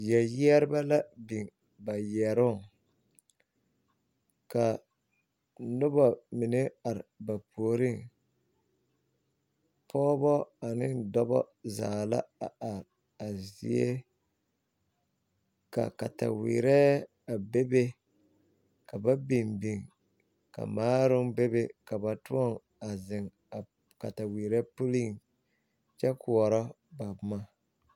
Yɛrebɛ la biŋ ba yɛroŋ ka noba mine are ba puoriŋ pɔgebɔ ane dɔbɔ zaa la a are a zie ka kataweerɛ a bebe ka ba biŋ biŋ ka maaroŋ bebe ka ba toɔ a zeŋ a kataweerɛ puliŋ kyɛ koɔrɔa ba boma.